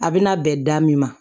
A bɛna bɛn da min ma